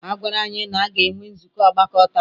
A gwara anyị na a ga-enwe nzukọ ọgbakọ taa.